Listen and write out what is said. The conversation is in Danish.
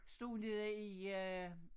Stod nede i øh